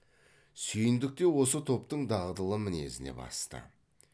сүйіндік те осы топтың дағдылы мінезіне басты